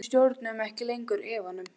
Við stjórnuðum ekki lengur efanum.